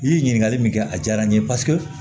I ye ɲininkali min kɛ a diyara n ye paseke